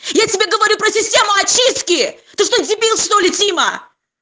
я тебе говорю про систему очистки ты что дебил что-ли тима